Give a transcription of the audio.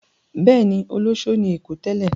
Bẹ́ẹ̀ ni, olóṣó ni ní Èkó tẹ́lẹ̀.